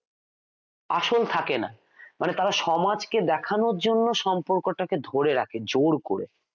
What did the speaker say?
আসল থাকেনা মানে তারা সমাজকে দেখানোর জন্য সম্পর্কটা ধরে রাখে জোর করে